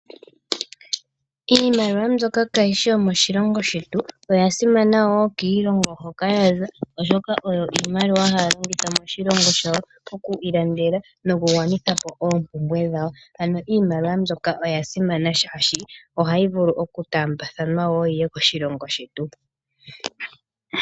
Iimaliwa mbyoka kaayi shi yomoshilongo shetu, oya simana wo kiilongo hoka ya zala oshoka oyo iimaliwa haa longitha moshilongo shawo okwiilandela nokugwanitha po oompumbwe dhawo. Ano iimaliwa mbyoka oya simana shaashi ohayi vulu oku taambathanwa wo yi ye koshilongo shetu.